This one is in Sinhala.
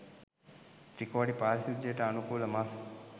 ත්‍රිකෝටි පරිශුද්ධියට අනුකූල මස්